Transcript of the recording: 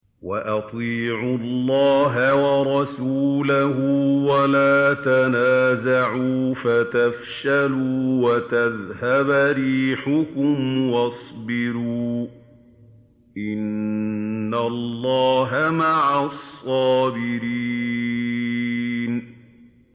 وَأَطِيعُوا اللَّهَ وَرَسُولَهُ وَلَا تَنَازَعُوا فَتَفْشَلُوا وَتَذْهَبَ رِيحُكُمْ ۖ وَاصْبِرُوا ۚ إِنَّ اللَّهَ مَعَ الصَّابِرِينَ